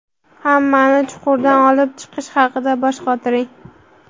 hammani chuqurdan olib chiqish haqida bosh qotiring.